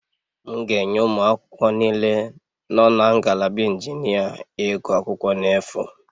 M ga-enye ụmụ akwụkwọ niile nọ na ngalaba injinia iguakwukwo n' efu